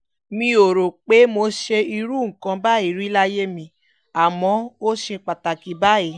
mi ò rò pé mo ṣe irú nǹkan báyìí rí láyé mi àmọ́ ó ṣe pàtàkì báyìí